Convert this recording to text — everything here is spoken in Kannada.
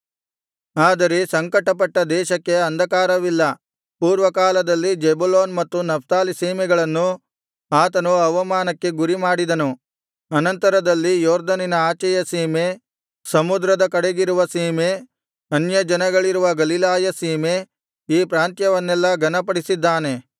ಆದರೆ ಸಂಕಟಪಟ್ಟ ದೇಶಕ್ಕೆ ಅಂಧಕಾರವಿಲ್ಲ ಪೂರ್ವಕಾಲದಲ್ಲಿ ಜೆಬುಲೋನ್ ಮತ್ತು ನಫ್ತಾಲಿ ಸೀಮೆಗಳನ್ನು ಆತನು ಅವಮಾನಕ್ಕೆ ಗುರಿಮಾಡಿದನು ಅನಂತರದಲ್ಲಿ ಯೊರ್ದನಿನ ಆಚೆಯ ಸೀಮೆ ಸಮುದ್ರದ ಕಡೆಗಿರುವ ಸೀಮೆ ಅನ್ಯಜನಗಳಿರುವ ಗಲಿಲಾಯ ಸೀಮೆ ಈ ಪ್ರಾಂತ್ಯವನ್ನೆಲ್ಲಾ ಘನಪಡಿಸಿದ್ದಾನೆ